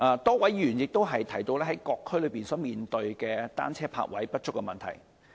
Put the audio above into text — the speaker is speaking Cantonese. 多位議員亦提到各區面對單車泊位不足的問題。